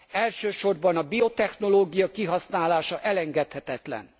elsősorban a biotechnológia kihasználása elengedhetetlen.